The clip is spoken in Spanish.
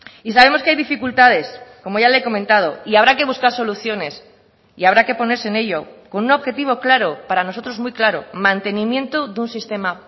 y sabemos que hay dificultades como ya le he comentado y habrá que buscar soluciones y habrá que ponerse en ello con un objetivo claro para nosotros muy claro mantenimiento de un sistema